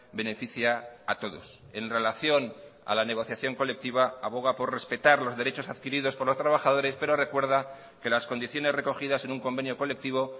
beneficia a todos en relación a la negociación colectiva aboga por respetar los derechos adquiridos por los trabajadores pero recuerda que las condiciones recogidas en un convenio colectivo